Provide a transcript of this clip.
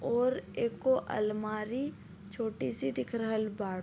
और एगो अलमारी छोटी सी दिख रहल बाड़ --